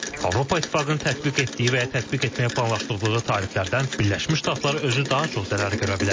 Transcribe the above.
Avropa İttifaqının tətbiq etdiyi və ya tətbiq etməyi planlaşdırdığı tariflərdən Birləşmiş Ştatlar özü daha çox zərər görə bilər.